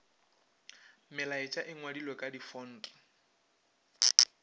melaetša e ngwadilwe ka difonte